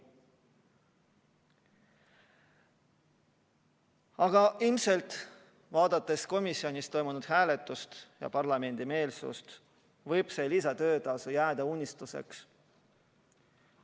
Aga vaadates komisjonis toimunud hääletust ja parlamendi meelsust, võib arvata, et see lisatöötasu jääb unistuseks.